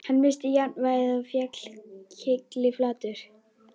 Hann missti jafnvægið og féll kylliflatur.